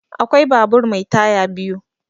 Akwai babur mai taya biyu.